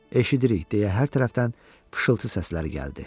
Eşidirik, deyə hər tərəfdən fışıltı səsləri gəldi.